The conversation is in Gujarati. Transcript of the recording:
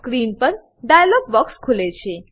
સ્ક્રીન પર ડાઈલોગ બોક્સ ખુલે છે